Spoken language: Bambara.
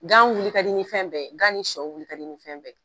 Gan wuli ka di nin fɛn bɛɛ ye, gan ni sɔ wuli ka di ni fɛn bɛɛ ye.